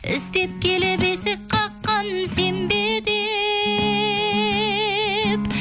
іздеп келіп есік қаққан сен бе деп